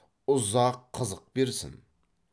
ұзақ қызық берсін